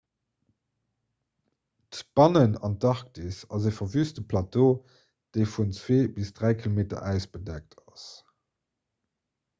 d'bannenantarktis ass e verwüste plateau dee vun 2 - 3 km äis bedeckt ass